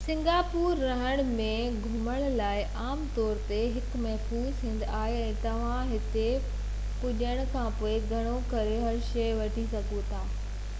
Singapore رهڻ ۽ گهمڻ لاءِ عام طور تي هڪ محفوظ هنڌ آهي ۽ توهان هتي پهچڻ کانپوءِ گهڻو ڪري هر شئي وٺي سگهو ٿا